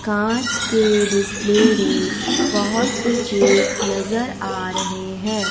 कांच के डिस्प्ले में बहोत से केक नजर आ रहे हैं।